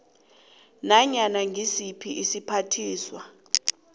nanyana ngisiphi isiphathiswa